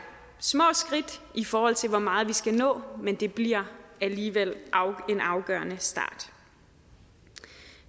små skridt i forhold til hvor meget vi skal nå men det bliver alligevel en afgørende start